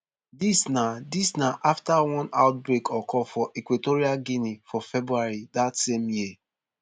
dis na dis na afta one outbreak occur for equatorial guinea for february dat same year